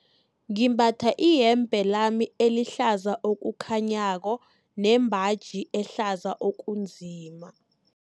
Ngimbatha iyembe lami elihlaza okukhanyako nembaji ehlaza okunzima.